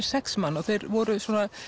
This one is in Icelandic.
sex manna og þeir voru